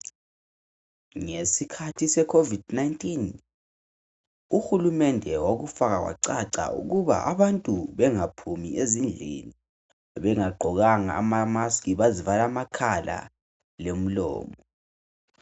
Ngesikhathi se"Covid-19" uhulumende wakufaka kwacaca ukuba a abantu bengaphumi ezindlini bengagqokanga ama"mask" bazivala amakhala lomlomo.